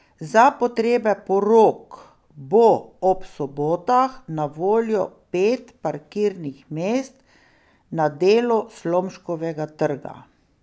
Za potrebe porok bo ob sobotah na voljo pet parkirnih mest na delu Slomškovega trga.